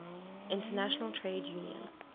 international trade union